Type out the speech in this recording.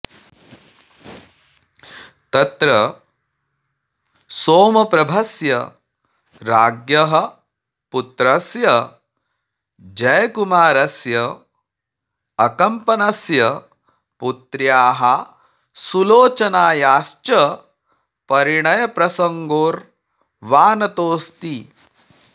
तत्र सोमप्रभस्य राज्ञः पुत्रस्य जयकुमारस्य अकम्पनस्य पुत्र्याः सुलोचनायाश्च परिणयप्रसङ्गो र्वाणतोऽस्ति